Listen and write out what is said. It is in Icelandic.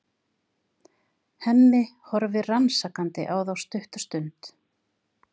Hemmi horfir rannsakandi á þá stutta stund.